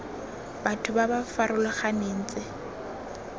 batho ba ba farologaneng tse